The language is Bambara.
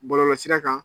Bɔlɔlɔsira kan